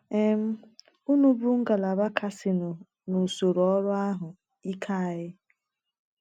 um Unu bụ ngalaba kasịnụ n’usoro ọrụ ahụ ike anyị.